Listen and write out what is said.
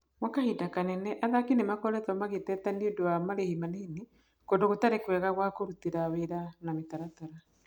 Gwa kahinda kanene, athaki nĩ makoretwo magĩteta nĩũndũ wa marĩhi manini, kũndũ gũtarĩ kwega gwa kũrutĩra wĩra na mĩtaratara.